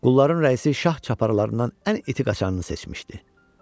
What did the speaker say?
Qulların rəisi şah çaparlarından ən iti qaşarı seçmişdi.